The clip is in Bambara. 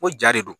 Ko ja de don